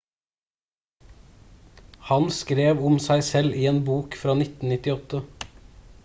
han skrev om seg selv i en bok fra 1998